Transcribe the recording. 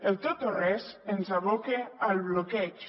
el tot o res ens aboca al bloqueig